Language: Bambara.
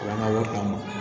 O y'an ka wari d'an ma